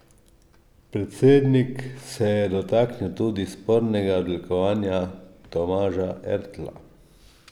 Predsednik se je dotaknil tudi spornega odlikovanja Tomaža Ertla.